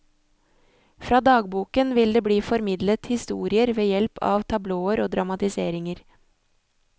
Fra dagboken vil det bli formidlet historier ved hjelp av tablåer og dramatiseringer.